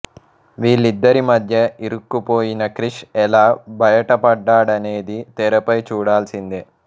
వీళ్ళద్దరి మధ్య ఇరుక్కుపోయిన క్రిష్ ఎలా భయిటపడ్డాడనేది తెరపై చూడాల్సిందే